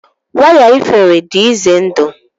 waya iferi dị ize ndụ